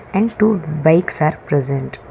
and two bikes are present.